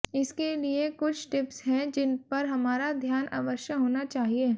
इसके लिये कुछ टिप्स हैं जिन पर हमारा ध्यान अवश्य होना चाहिये